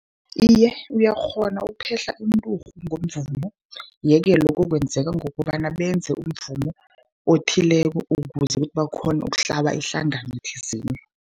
Iye, uyakghona ukuphehla inturhu ngomvumo. Ye-ke lokho kwenzeka ngokobana benze umvumo othileko, ukuze ukuthi bakghone ukuhlaba ihlangano thizeni.